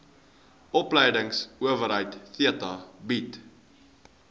opleidingsowerheid theta bied